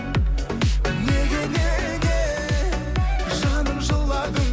неге неге жаным жыладың